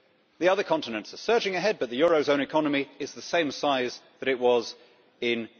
The other continents are surging ahead, but the eurozone economy is the same size that it was in